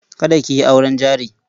Kada ki yi auren jari.